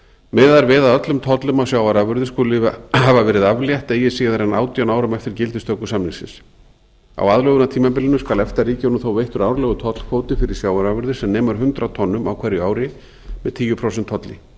miðað er við að öllum tollum á sjávarafurðir skuli hafa verið aflétt eigi síðar en átján árum eftir gildistöku samningsins á aðlögunartímabilinu skal efta ríkjunum þó veittur árlegur tollkvóti fyrir sjávarafurðir sem nemur hundrað tonnum á hverju ári með tíu prósent tolli